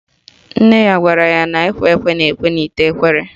Nne ya gwara ya na ekwe ekwe na-ekwe n'ite ekwere